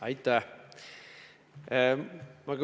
Aitäh!